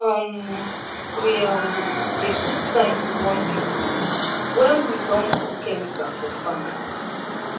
um we um dey put sign to warn people when we don put chemical for farm.